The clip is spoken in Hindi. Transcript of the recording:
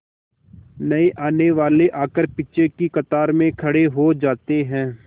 नए आने वाले आकर पीछे की कतार में खड़े हो जाते हैं